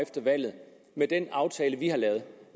efter valget med den aftale vi har lavet